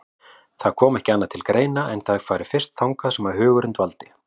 Það kom ekki annað til greina en að þau færu fyrst þangað sem hugurinn dvaldi.